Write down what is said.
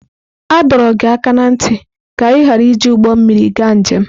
A dọrọ gị aka ná ntị ka ị ghara iji ụgbọ mmiri gaa njem!